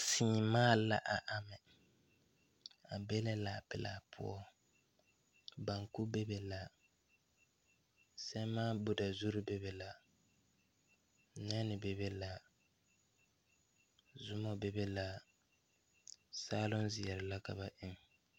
Sèèmaa la a gaŋ a be la kaa pilaa poɔ banku bebe la sɛmaan budazurre bebe la nɛnne bebe la zumɔ bebe la saaloŋ zeɛre la ka ba eŋ.